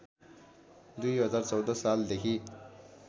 २०१४ सालदेखि